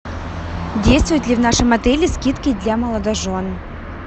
действуют ли в нашем отеле скидки для молодожен